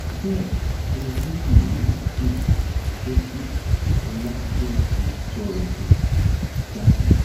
bẹẹ ohun méjì ló um jẹ kí ọlájẹǹsì sọrọ um jáde